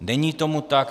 Není tomu tak.